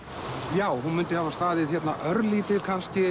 já hún mundi hafa staðið örlítið